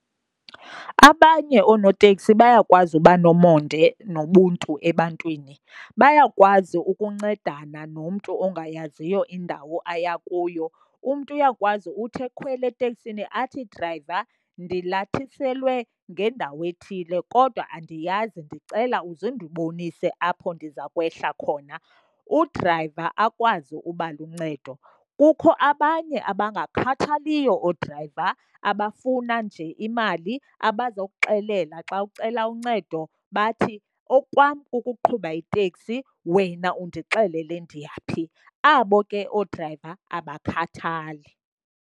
Abanye oonoteksi bayakwazi uba nomonde nobuntu ebantwini, bayakwazi ukuncedana nomntu ongayaziyo indawo aya kuyo. Umntu uyakwazi uthi ekhwela eteksini athi drayiva ndilathiselwe ngendawo ethile kodwa andiyazi, ndicela uze undibonise apho ndiza kwehla khona. Udrayiva akwazi ukuba luncedo. Kukho abanye abangakhathaliyo oodrayiva abafuna nje imali, abazokuxelela xa ucela uncedo bathi okwam kukuqhuba iteksi wena undixelele ndiyaphi. Abo ke oodrayiva abakhathali.